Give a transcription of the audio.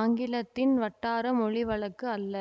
ஆங்கிலத்தின் வட்டார மொழி வழக்கு அல்ல